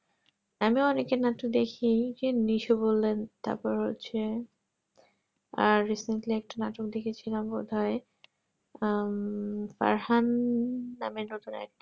আমিও অনেকেই নাটক দেখি যে নেস বললেন তারপর হচ্ছে আর simply একটা নাটক দেখে ছিলাম বোধহয় উম farhan নামের নতুন একটা